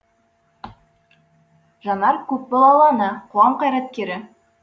жанар көпбалалы ана қоғам қайраткері